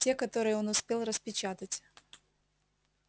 те которые он успел распечатать